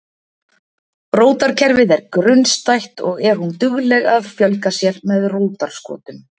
Rótarkerfið er grunnstætt og er hún dugleg að fjölga sér með rótarskotum.